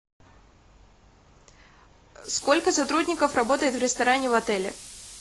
сколько сотрудников работает в ресторане в отеле